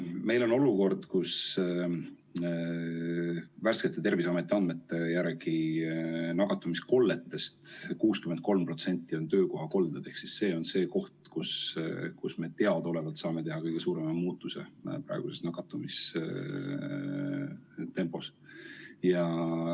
Meil on olukord, kus värskete Terviseameti andmete järgi nakatumiskolletest 63% on töökohakolded, ehk see on see koht, kus me saaksime teha kõige suurema muutuse praeguses nakatumistempos.